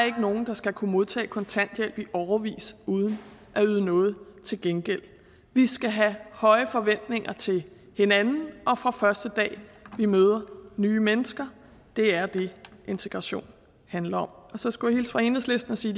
ikke nogen der skal kunne modtage kontanthjælp i årevis uden at yde noget til gengæld vi skal have høje forventninger til hinanden fra første dag vi møder nye mennesker det er det integration handler om så skulle jeg hilse fra enhedslisten og sige